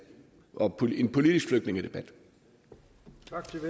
det her